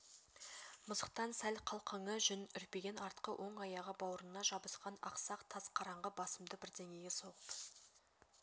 мысықтан сәл қалқыңқы жүн үрпиген артқы оң аяғы баурына жабысқан ақсақ тас қараңғы басымды бірдеңеге соғып